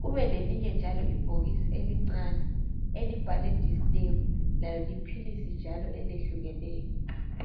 kube lelinye njalo ibhokisi elincane elibhalwe distem lalo liphilisi elehlukeneyo.